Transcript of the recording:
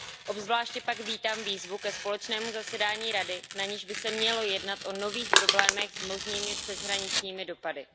Obzvláště pak vítám výzvu ke společnému zasedání Rady, na níž by se mělo jednat o nových problémech s možnými přeshraničními dopady.